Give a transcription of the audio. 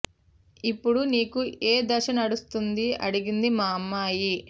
ఇప్పుడు నీకు ఏదశ నడుస్తోంది అడిగింది మా అమ్మాయి